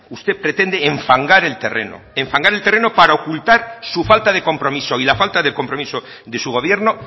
usted pretende enfangar el terreno enfangar el terreno para ocultar su falta de compromiso y la falta de compromiso de su gobierno